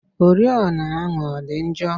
Oriọna ahụ ọ dị njọ?